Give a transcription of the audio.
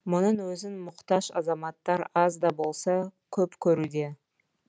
мұның өзін мұқтаж азаматтар аз да болса көп көруде